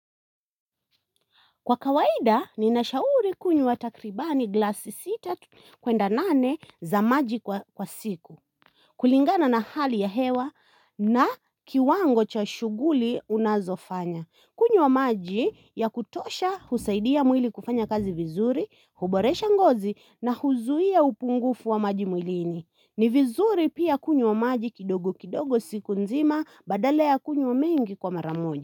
Kwa kawaida ninashauri kunywa takribani glasi sita kwenda nane za maji kwa kwa siku. Kulingana na hali ya hewa na kiwango cha shughuli unazofanya. Kunywa maji ya kutosha husaidia mwili kufanya kazi vizuri, huboresha ngozi na huzuia upungufu wa maji mwilini. Ni vizuri pia kunywa maji kidogo kidogo siku nzima badala kunywa mengi kwa mara moja.